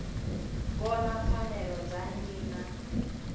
vhona pfanelo dza nnyi na